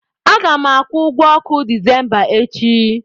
A ga m akwụ ụgwọ ọkụ Disemba echi.